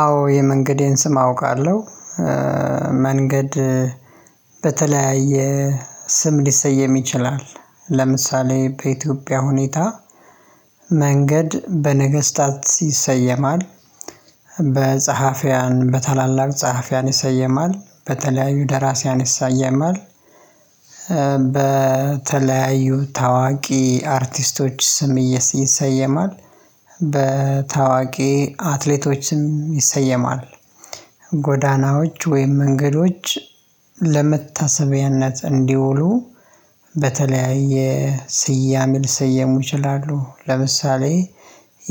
አዎ የመንገዴን ስም አውቃለሁ። መንገድ በተለያየ ስም ሊሰየም ይችላል። ለምሳሌ በኢትዮጵያ ሁኔታ መንገድ በነገስታት ይሰየማል፣ በጸሐፊያን በታላላቅ ጸሐፊያን ይሰየማል፣ በተለያዩ ደራሲያን ይሳየማል፣ በተለያዩ ታዋቂ አርቲስቶች ስም ይሰየማል በታዋቂ አትሌቶችም ይሰየማል፣ ጎዳናዎች ወይም መንገዶች ለመታሰቢያነት እንዲውሉ በተለያየ ስያሜ ልሰየሙ ይችላሉ ለምሳሌ